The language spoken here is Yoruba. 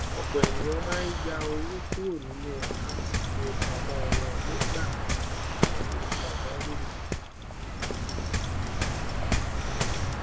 ọpọ ènìyàn máa ń yá owó kúrò nínú àkáńtì ifowópamọ wọn nígbà ìnáwó pajawiri